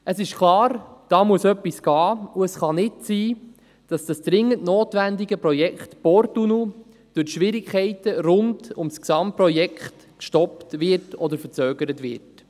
Es ist klar, da muss etwas geschehen, und es kann nicht sein, dass das dringend notwendige Projekt Porttunnel durch die Schwierigkeiten rund um das Gesamtprojekt gestoppt oder verzögert wird.